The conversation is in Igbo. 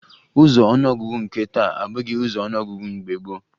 Ụzọ ọnụọgụgụ nke taa abụghị ụzọ ọnụọgụgụ mgbe gboo